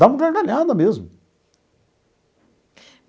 Davam gargalhada mesmo.